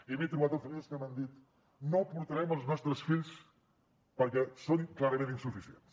i m’he trobat amb famílies que m’han dit no hi portarem els nostres fills perquè són clarament insuficients